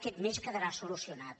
aquest mes quedarà solucionat